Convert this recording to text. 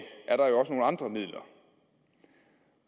er der jo også nogle andre midler